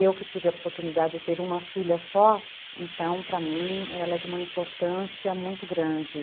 Eu que tive a oportunidade de ter uma filha só, então para mim ela é de uma importância muito grande.